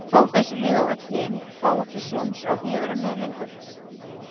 fá þessi lið og öll hin fá ekki séns á því að vera með lengur?